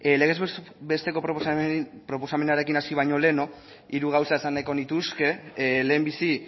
legez besteko proposamenarekin hasi baino lehen hiru gauza esan nahiko nituzke lehenbizi